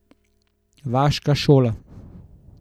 Vaška šola.